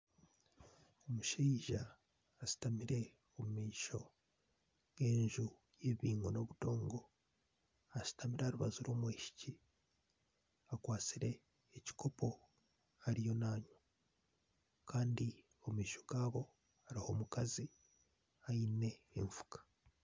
Omushaija ashutamire omu maisho g'enju eigwire y'obudongo. Ashutamire aha rubaju rw'omwishiki, akwatsire ekikopo ariyo naanywa. Kandi omu maisho gaabo hariho omukazi aine enfuka.